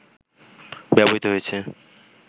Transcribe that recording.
ব্যবহৃত হয়েছে